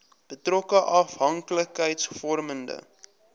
betrokke afhanklikheids vormende